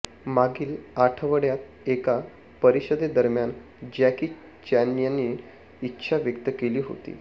मागील आठवड्यात एका परिषदेदरम्यान जॅकी चेनयांनी इच्छा व्यक्त केली होती